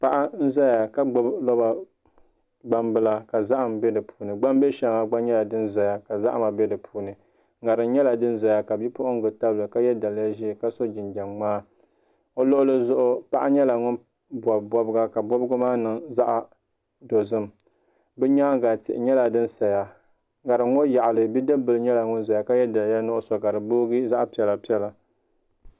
Paɣa n ʒɛya ka gbubi roba gbambila ka zaham bɛ di puuni gbambihi shɛŋa gba nyɛla din ʒɛya ka zahama bɛ di puuni ŋarim nyɛla din ʒɛya ka bipuɣungi tabili ka yɛ daliya ʒiɛ ka so jinjɛm ŋmaa o luɣuli zuɣu paɣa nyɛla ŋun bob bobga ka bobgi maa niŋ zaɣ dozim bi nyaanga tihi nyɛla din saya ŋarim ŋɔ yaɣali bidib bili nyɛla ŋun ʒɛya ka yɛ daliya nuɣso ka di boogi zaɣ piɛla piɛla